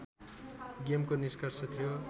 गेमको निष्कर्ष थियो